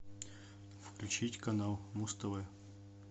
включить канал муз тв